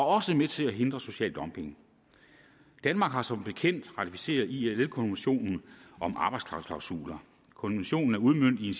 også med til at hindre social dumping danmark har som bekendt ratificeret ilo konventionen om arbejdsklausuler konventionen er udmøntet i